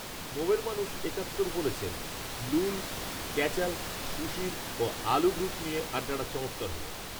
মোমেরমানুষ একাত্তর বলেছেন লুল, ক্যাচাল, সুশীল, ও আলু গ্রুপ নিয়ে আড্ডাটা চমৎার হল